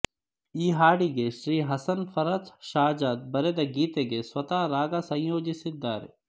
ಈ ಹಾಡಿಗೆ ಶ್ರೀ ಹಸನ್ ಫಾರ್ಹತ್ ಷಹ್ಜದ್ ಬರೆದ ಗೀತೆಗೆ ಸ್ವತಃ ರಾಗ ಸಂಯೋಜಿಸಿದ್ದಾರೆ